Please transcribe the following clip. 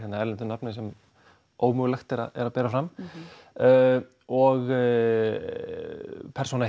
erlendu nafni sem ómögulegt er að bera fram og persóna